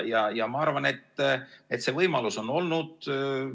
Ma arvan, et see võimalus on olnud.